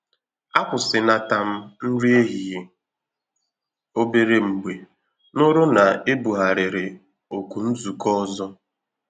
A kwụsịnata m nri ehihie òbèrè mgbe nụrụ na ebugharịrị oku nzukọ ọzọ